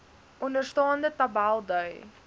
onderstaande tabel dui